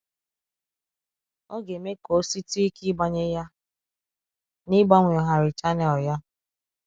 Ọ ga-eme ka o sitụ ike ịgbanye ya na ịgbanwegharị chanel ya